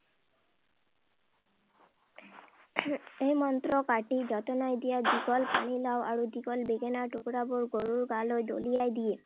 এই মন্ত্ৰ কাটা যতনাই নিয়া দীঘল পানীলাউ আৰু দীঘল বেঙেনাৰ টুকুৰাবোৰ গৰুৰ গালৈ দলিয়াই দিয়ে।